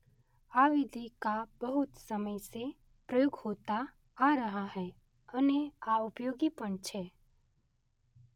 આ વિધિ કા બહુત સમય સે પ્રયોગ હોતા આ રહા હૈ અને આ ઉપયોગી પણ છે.